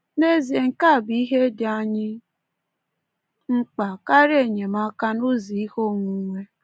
N’ezie, nke a bụ ihe dị anyị mkpa, karịa enyemaka n’ụzọ ihe onwunwe.